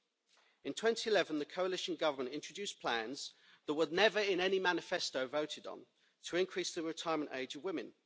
In 2011, the coalition government introduced plans that were never in any manifesto voted on to increase the retirement age of women.